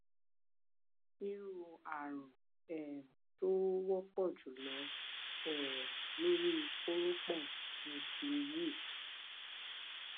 irú ààrun um tó wọpọ jùlọ um lórí kórópọn ni ti yeast